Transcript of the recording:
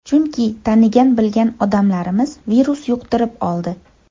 Chunki tanigan-bilgan odamlarimiz virus yuqtirib oldi.